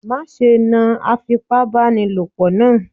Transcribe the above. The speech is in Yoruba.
Má ṣe náà Afipábánilòpọ̀ naa.